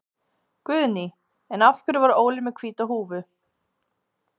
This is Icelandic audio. Guðný: En af hverju var Óli með hvíta húfu?